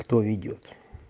кто ведёт